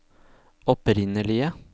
opprinnelige